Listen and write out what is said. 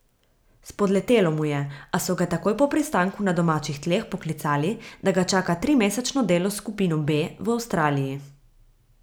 Spodletelo mu je, a so ga takoj po pristanku na domačih tleh poklicali, da ga čaka trimesečno delo s skupino B v Avstraliji.